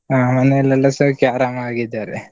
ಆ ಮನೆಲೆಲ್ಲಾ ಸೌಖ್ಯ ಆರಾಮಾಗಿದಾರೆ.